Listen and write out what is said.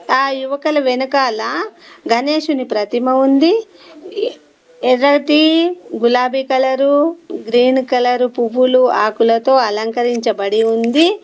ఆ యువకల వెనకాల గణేశుని ప్రతిమ ఉంది ఎర్రటి గులాబీ కలరు గ్రీన్ కలర్ పువ్వులు ఆకులతో అలంకరించబడి ఉంది.